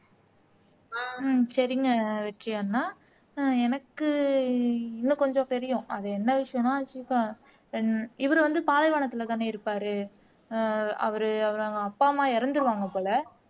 ஹம் சரிங்க வெற்றி அண்ணா ஆஹ் எனக்கு இன்னும் கொஞ்சம் தெரியும் அது என்ன விஷயம்னா இது தான் இவரு வந்து பாலைவனத்துல தானே இருப்பாரு ஆஹ் அவரு அவங்க அப்பா அம்மா இறந்துருவாங்க போல